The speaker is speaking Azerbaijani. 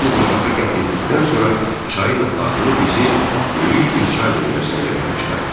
Xeyli məsafə qət etdikdən sonra çayın axını bizi böyük bir çay döngəsinə gətirib çıxartdı.